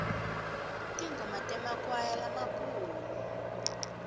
tingoma temakwaya lamakhulu